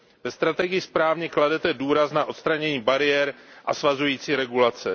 Ve strategii správně kladete důraz na odstranění bariér a svazující regulace.